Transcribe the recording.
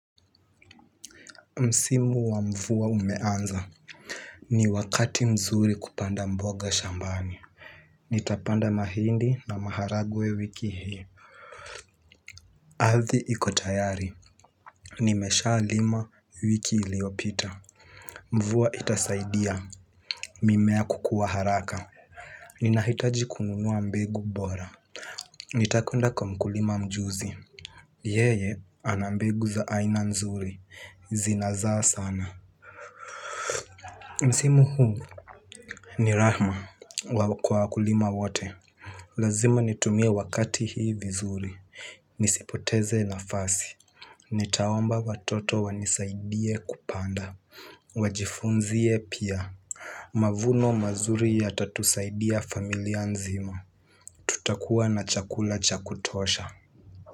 Msimu wa mvua umeanza, ni wakati mzuri kupanda mboga shambani. Nitapanda mahindi na maharagwe wiki hii. Ardhi iko tayari, nimeshalima wiki iliopita. Mvua itasaidia, mimea kukua haraka. Ninahitaji kununua mbegu bora, nitakwenda kwa mkulima mjuzi. Yeye, ana mbegu za aina nzuri, zinazaa sana. Msimu huu ni rahma kwa wakulima wote. Lazima nitumie wakati hii vizuri, nisipoteze nafasi. Nitaomba watoto wanisaidie kupanda, wajifunze pia. Mavuno mazuri yatatusaidia familia nzima. Tutakuwa na chakula chakutosha.